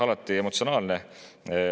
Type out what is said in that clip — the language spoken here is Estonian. Alati emotsionaalne.